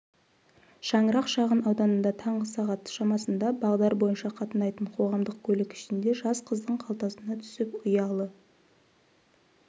шаңырақ шағынауданында таңғы сағат шамасында бағдар бойынша қатынайтын қоғамдық көлік ішінде жас қыздың қалтасына түсіп ұялы